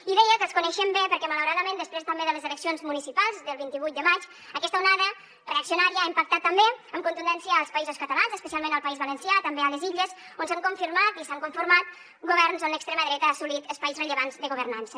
i deia que els coneixem bé perquè malauradament després també de les eleccions municipals del vint vuit de maig aquesta onada reaccionària ha impactat també amb contundència als països catalans especialment al país valencià també a les illes on s’han confirmat i s’han conformat governs on l’extrema dreta ha assolit espais rellevants de governança